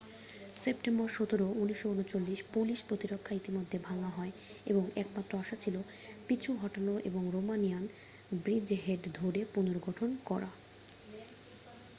September 17 1939 Polish প্রতিরক্ষা ইতিমধ্যে ভাঙ্গা হয় এবং একমাত্র আশা ছিল পিছু হটানো এবং রোমানিয়ান ব্রিজহেড ধরে পুনর্গঠন করা